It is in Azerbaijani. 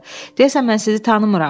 Deyəsən mən sizi tanımıram.